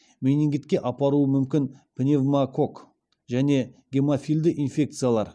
менингитке апаруы мүмкін пневмококк және гемофильді инфекциялар